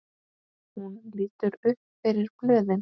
Hún lítur upp fyrir blöðin.